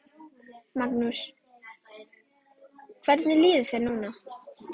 Magnús: Hvernig líður þér núna?